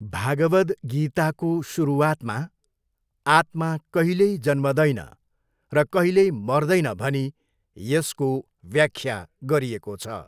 भागवद गीताको सुरुवातमा आत्मा कहिल्यै जन्मदैन र कहिल्यै मर्देन भनी यसको व्याख्या गरिएको छ।